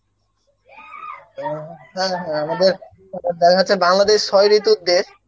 হ্যাঁ হ্যাঁ আমাদের তারপর দেখা যাচ্ছে বাংলাদেশ ছয় ঋতুর দেশ,